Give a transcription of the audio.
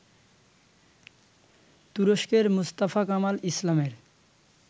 তুরস্কের Mustafa Kemal ইসলামের